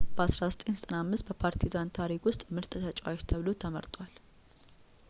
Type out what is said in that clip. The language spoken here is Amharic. በ 1995 በፓርቲዛን ታሪክ ውስጥ ምርጥ ተጫዋች ተብሎ ተመርጧል